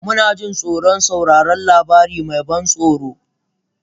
Muna jin tsoron sauraron labari mai ban tsoro?